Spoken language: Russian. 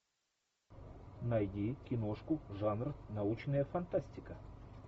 найди киношку жанр научная фантастика